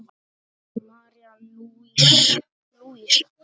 María Lúísa.